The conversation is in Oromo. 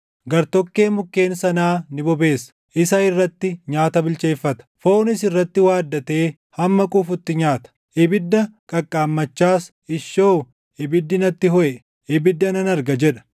Gartokkee mukkeen sanaa ni bobeessa; isa irratti nyaata bilcheeffata; foonis irratti waaddatee hamma quufutti nyaata. Ibidda qaqqaammachaas, “Ishoo! Ibiddi natti hoʼe; ibidda nan arga” jedha.